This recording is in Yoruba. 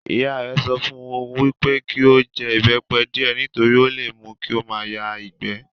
Ìyá rẹ̀ sọ fún un wípé kí ó jẹ ìbẹ́pẹ díẹ̀ nítorí ó le mú kí ó máa yá ìgbẹ́